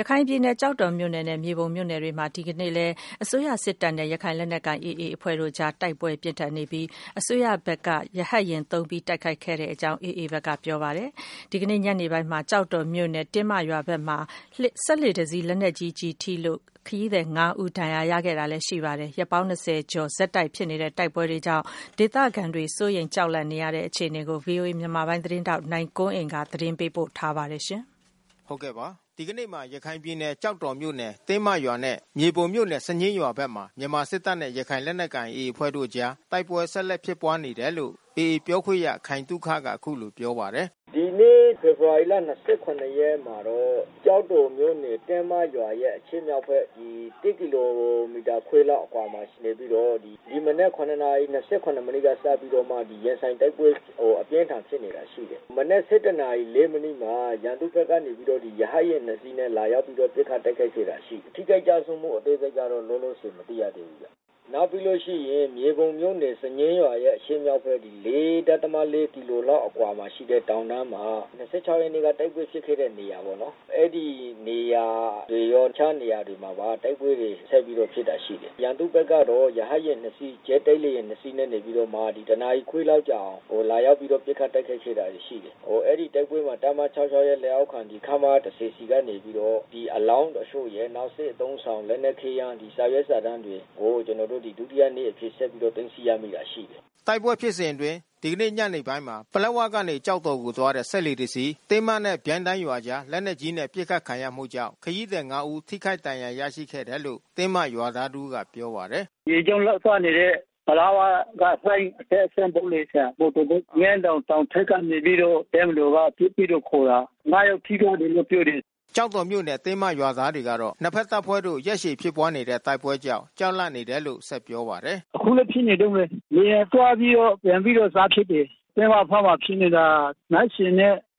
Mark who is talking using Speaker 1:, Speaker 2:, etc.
Speaker 1: ရခိုင်ပြည်နယ် ကျောက်တော်မြို့နယ်နဲ့ မြေပုံမြို့နယ်မှာ ဒီကနေ့မှာလည်း မြန်မာစစ်တပ်နဲ့ ရခိုင်လက်နက်ကိုင် AA အဖွဲ့တို့အကြား တိုက်ပွဲပြင်းထန် ဖြစ်ပွားနေပြီး ဒီတိုက်ပွဲမှာ မြန်မာစစ်တပ်ဘက်က ရဟတ်ယာဉ်အသုံးပြု တိုက်ခိုက်ခဲ့ရတဲ့ အထိပြင်းထန်တယ်လို့ AA ဘက်က ပြောပါတယ်။ ကျောက်တော်မြို့နယ် တင်းမရွာဘက်မှာ စက်လှေတစီး ဒီနေ့ညနေပိုင်းမှာ လက်နက်ကြီး ထိမှန်လို့ ခရီးသည် ၅ ဦး ဒဏ်ရာ ရရှိခဲ့သလို ၂၂ ရက်လောက် တိုက်ပွဲဆက် ဖြစ်နေတာကြောင့် ဒေသခံတွေ ကြောက်လန့် နေရတယ်လို့လည်း ဆိုပါတယ်။ ဗွီအိုအေ မြန်မာပိုင်း သတင်းထောက် နိုင်ကွန်းအိန်ကနေ သတင်းပေးပို့ထားပါတယ်။
Speaker 2: ဒီကနေ့မှာ ရခိုင်ပြည်နယ် ကျောက်တော်မြို့နယ် တင်းမရွာနဲ့ မြေပုံမြို့နယ် စညှင်းရွာဘက်မှာ မြန်မာစစ်တပ်နဲ့ ရခိုင်လက်နက်ကိုင် AA အဖွဲ့တို့အကြား တိုက်ပွဲဆက်လက်ဖြစ်ပွါးနေတယ်လို့ AA ပြောခွင့်ရခိုင်သုခက အခုလိုပြောပါတယ်။
Speaker 3: “ဒီနေ့ ဖေဖေါ်ဝါရီလ ၂၇ ရက်မှာတော့ ကျောက်တော်မြို့နယ် တင်းမရွာရဲ့ အရှေ့မြောက်ဘက်၁ ကီလိုမီတာခွဲလောက် အကွာမှာနေပြီးတော့ ဒီမနက် ၇ နာရီ ၂၇ မိနစ်ကစပြီးတော့မှ ရင်ဆိုင်တိုက်ပွဲ အပြင်းထန်ဖြစ်နေတာ ရှိတယ်။ မနက် ၁၁ နာရီ ၄ မိနစ်မှာ ရန်သူဘက်ကနေပြီးတော့ ရဟတ်ယာဉ် ၂ စီးနဲ့ လာပြီးတော့ ပစ်ခတ်တိုက်ခိုက်ခဲ့တာ ရှိတယ်။ ထိခိုက်ကျဆုံးမှု အသေးစိတ်ကတော့ လောလောဆယ် မသိရသေးဘူး။ နောက်ပြီးလို့ရှိရင် မြေပုံမြို့နယ် စံညှင်းရွာရဲ့အရှေ့မြောက်ဘက် ၄.၄ ကီလိုမီတာလောက်ရှိတဲ့ တောင်တန်းမှာ၂၆ ရက်နေ့က တိုက်ပွဲဖြစ်ခဲ့တဲ့နေရာပေါ့နော်။ အဲဒီနေရာတွေရော တခြားနေရာတွေပါ တိုက်ပွဲတွေ ဆက်ပြီးတော့ဖြစ်တာ ရှိတယ်။ ရန်သူဘက်ကတော့ ရဟတ်ယာဉ် ၂ စီး ဂျက်တိုက် လေယာဉ် ၂ စီးနဲ့ နေပြီးတော့မှ တနာရီခွဲလောက်ကြာအောင် လာပြီးတော့ ပစ်ခတ်တိုက်ခိုက်တာ ရှိတယ်။ အဲဒီတိုက်ပွဲမှာ တပ်မ ၆၆ ရဲ့လက်အောက်ခံ ခမရ ၁၀ ဆီကနေပြီးတော့ အလောင်းတချို့ရယ် နောက်စစ်အသုံးဆောင်လက်နက်ခဲယမ်း စာရွက်စာတမ်းတွေကို ကျနော်တို့ ဒုတိယနေ့အဖြစ်ဆက်ပြီးတော့ သိမ်းဆည်းရမိတာ ရှိတယ်
Speaker 2: ။” တိုက်ပွဲဖြစ်စဉ်အတွင်း ဒီနေ့ညနေပိုင်းမှာ ပလက်ဝကနေ ကျောက်တော်ကို သွားတဲ့ စက်လှေတစီး တင်းမနဲ့ ပြိုင်းတိုင်းရွာအကြား လက်နက်ကြီးနဲ့ ပစ်ခတ်ခံရမှုကြောင့် ခရီးသည် ၅ ဦး ထိခိုက်ဒဏ်ရာ ရရှိခဲ့တယ်လို့ တင်းမရွာသားတဦးကပြောပါတယ်။ “ရေကြောင်းလိုင်းသွားနေတဲ့ ပလက်ဝက လှိုင်းအတက်အဆင်းလုပ်နေတဲ့ မော်တော်ဘုတ်။ ငန်းတောင်တောင်ထိပ်က နေပြီးတော့ တပ်မတော်က ပစ်ပြီးတော့ ခိုတာ။ ၅ ယောက်ထိသွားတယ်လို့ ပြောတယ်။” ကျောက်တော်မြို့နယ် တင်းမရွာသားတွေကတော့ နှစ်ဘက်တပ်ဖွဲ့တို့ ရက်ရှည်ဖြစ်ပွါးနေတဲ့ တိုက်ပွဲကြောင့် ကြောက်လန့်နေတယ်လို့ ဆက်ပြောပါတယ်။ “အခုလည်းဖြစ်နေတုန်းပဲ။ လေယာဉ်သွားပြီးတော့ပြန်ပြီးတော့ စဖြစ်တယ်။ တင်းမဘက်မှာဖြစ်နေတာ ၂